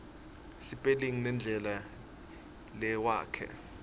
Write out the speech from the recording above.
sipelingi nendlela lewakha